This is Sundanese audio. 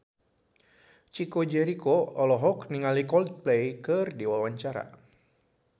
Chico Jericho olohok ningali Coldplay keur diwawancara